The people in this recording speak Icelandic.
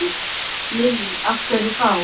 Lillý: Af hverju þá?